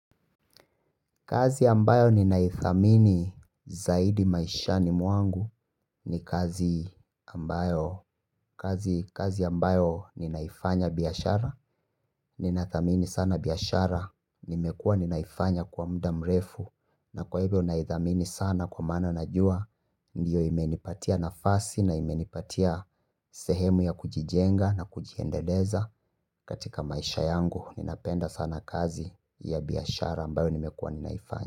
Kazi ambayo ninaithamini zaidi maishani mwangu ni kazi ambayo ninaifanya biashara. Ninathamini sana biashara nimekuwa ninaifanya kwa muda mrefu. Na kwa hivyo ninaithamini sana kwa maana najua. Ndiyo imenipatia nafasi na imenipatia sehemu ya kujijenga na kujiendeleza katika maisha yangu. Ninapenda sana kazi ya biashara ambayo nimekuwa ninaifanya.